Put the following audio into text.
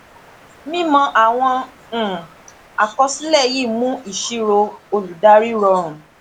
mímọ àwọn um àkọsílẹ yìí mú ìṣirò olùdarí rọrùn